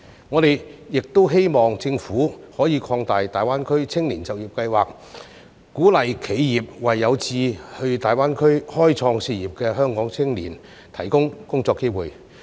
我們亦希望政府可以擴大大灣區青年就業計劃，鼓勵企業為有志到大灣區開創事業的香港青年提供工作機會。